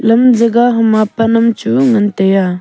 lam jega hama pan am chu ngan taiya.